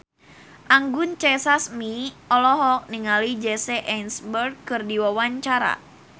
Anggun C. Sasmi olohok ningali Jesse Eisenberg keur diwawancara